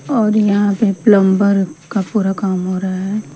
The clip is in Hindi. और यहां पे प्लंबर का पूरा काम हो रहा है।